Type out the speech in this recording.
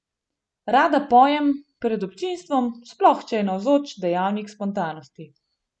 Rada pojem pred občinstvom, sploh če je navzoč dejavnik spontanosti.